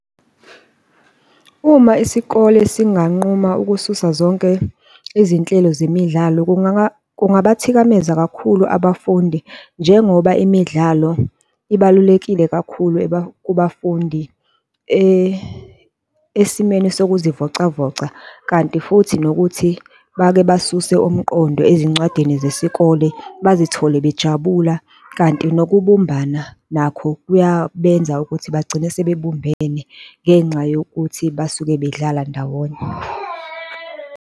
Uma isikole singanquma ukususa zonke izinhlelo zemidlalo, kungabathikameza kakhulu abafundi njengoba imidlalo ibalulekile kakhulu kubafundi, esimeni sokuzivocavoca. Kanti futhi nokuthi bake basuse umqondo ezincwadini zesikole bazithole bejabula kanti nokubumbana nakho kuyabenza ukuthi bagcine sebebumbene ngenxa yokuthi basuke bedlala ndawonye.